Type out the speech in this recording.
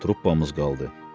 Truppamız qaldı.